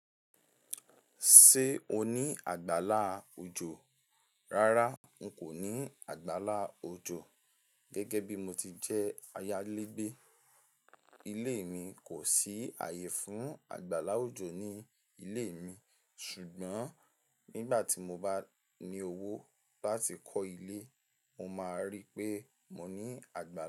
Ṣé o ní àgbálá òjò? Rárá, n kò ní àgbálá òjò. Gẹ́gẹ́ bí mo ti jẹ́ ayálégbé, ilé mi kò sí ààyè fún àgbálá òjò ní ilé mi. Ṣùgbọ́n nígbà tí mo bá ní owó láti kọ́ ilé, mo máa ríi pé mo ní àgbálá òjò.